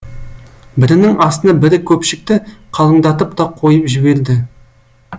бірінің астына бірі көпшікті қалыңдатып та қойып жіберді